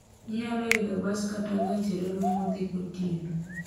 Inyalo idho bas kata gach reru modhi gotieno.